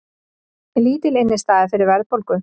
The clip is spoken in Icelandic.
Lítil innistæða fyrir verðbólgu